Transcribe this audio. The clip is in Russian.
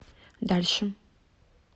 дальше